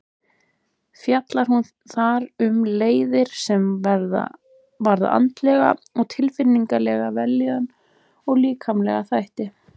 Fjallar hún þar um leiðir sem varða andlega og tilfinningalega vellíðan og líkamlega þætti.